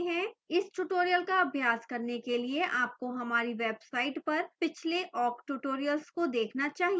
इस tutorial का अभ्यास करने के लिए आपको हमारी website पर पिछले awk tutorials को देखना चाहिए